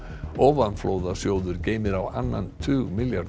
ofanflóðasjóður geymir á annan tug milljarða